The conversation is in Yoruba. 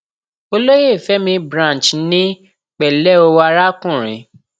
olóyè fẹmí branch ní pẹlẹ o arákùnrin